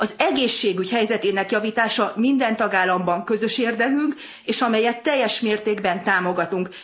Az egészségügy helyzetének javítása minden tagállamban közös érdekünk, amelyet teljes mértékben támogatunk.